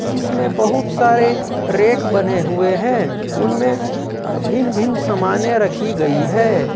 जिसमें बहुत सारे रेख बने हुए हैं उनमें भिन्न भिन्न समानें रखी गई हैं।